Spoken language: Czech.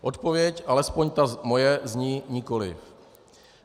Odpověď, alespoň ta moje, zní nikoliv.